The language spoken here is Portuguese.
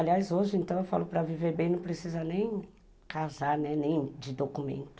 Aliás, hoje então, eu falo que para viver bem não precisa nem casar, nem de documento.